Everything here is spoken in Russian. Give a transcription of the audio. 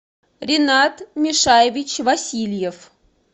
ринат мишаевич васильев